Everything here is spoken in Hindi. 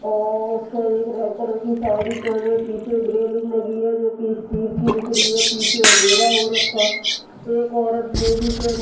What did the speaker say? और उसने एक रेड कलर की साड़ी पहने पीछे रेलिंग लगी है जो की स्टील की दिख रही है पीछे अँधेरा हो रखा है एक औरत बोरी पहन --